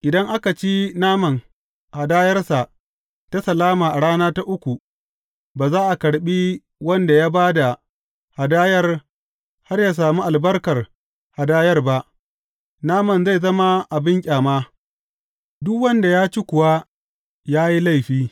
Idan aka ci naman hadayarsa ta salama a rana ta uku, ba za a karɓi wanda ya ba da hadayar har ya sami albarkar hadayar ba, naman zai zama abin ƙyama, duk wanda ya ci kuwa ya yi laifi.